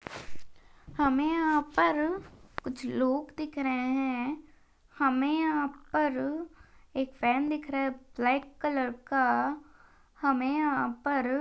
हमे यहा पर कुछ लोग दिख रहा है। हमे यहा पर एक फैन दिख रहा है ब्लेक कलर का हमे यहा पर--